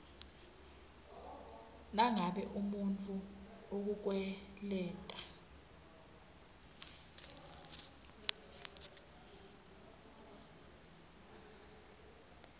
nangabe umuntfu ukukweleta